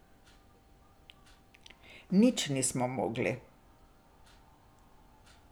Nič nismo mogli.